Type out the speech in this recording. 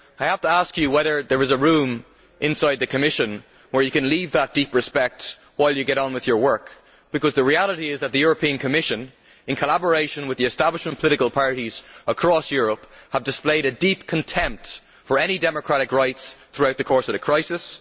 I have to ask him whether there is a room inside the Commission where he can leave that deep respect while he gets on with his work, because the reality is that the Commission, in collaboration with the establishment political parties across Europe, have displayed a deep contempt for any democratic rights throughout the course of the crisis.